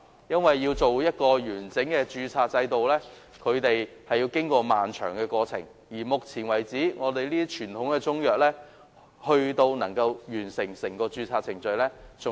訂定完整的註冊制度，要經過漫長的過程，至今只有極少數傳統中藥能夠完成整個註冊程序。